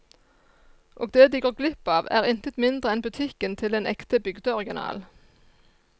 Og det de går glipp av er intet mindre enn butikken til en ekte bygdeoriginal.